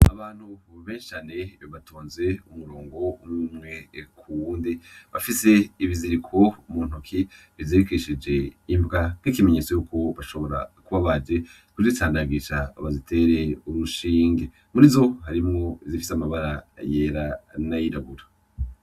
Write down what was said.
Abantu benshi cane batonze umurongo umwumwe kuwundi bafis'ibiziriko muntoki ,bizirikishije imbwa nk'ikimenyetso yuko bashobora kuba baje kuzicandagisha ngo baziter'urushinge murizo :harimwo izifis'amabara yera nayirabura.